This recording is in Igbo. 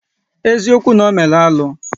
Eziokwu na ọ meru alụ?